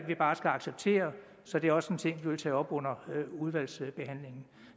vi bare skal acceptere så det er også en ting vi vil tage op under udvalgsbehandlingen